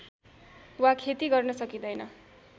वा खेती गर्न सकिदैन